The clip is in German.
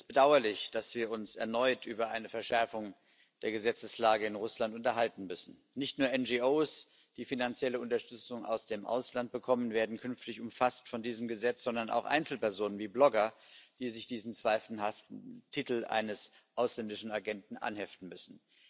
Es ist bedauerlich, dass wir uns erneut über eine Verschärfung der Gesetzeslage in Russland unterhalten müssen. Nicht nur NGOs, die finanzielle Unterstützung aus dem Ausland bekommen, werden künftig von diesem Gesetz erfasst, sondern auch Einzelpersonen wie Blogger, die sich diesen zweifelhaften Titel eines ausländischen Agenten anheften müssen.